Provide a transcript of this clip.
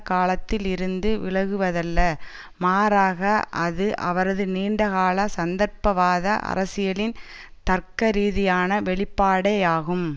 காலத்தில் இருந்து விலகுவதல்ல மாறாக அது அவரது நீண்டகால சந்தர்ப்பவாத அரசியலின் தர்க்கரீதியான வெளிப்பாடேயாகும்